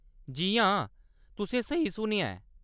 जी हां, तुसें स्हेई सुनेआ ऐ।